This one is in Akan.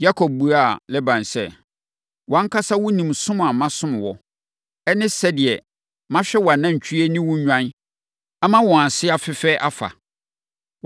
Yakob buaa Laban sɛ, “Wʼankasa wonim som a masom wo, ne sɛdeɛ mahwɛ wʼanantwie ne wo nnwan ama wɔn ase afɛe afa.